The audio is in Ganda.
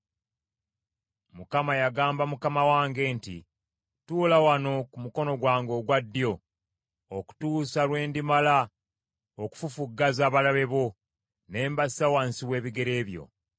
Mukama yagamba Mukama wange nti: “Tuula wano ku mukono gwange ogwa ddyo, okutuusa lwe ndimala okufufuggaza abalabe bo ne mbassa wansi w’ebigere byo. ”